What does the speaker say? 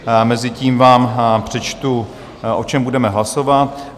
Mezitím vám přečtu, o čem budeme hlasovat.